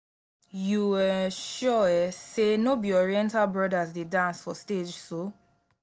you um sure um say no be oriental brothers dey dance for stage so